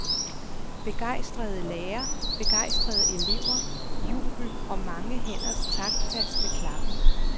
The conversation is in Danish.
Begejstrede lærere, begejstrede elever, jubel og mange hænders taktfaste klappen.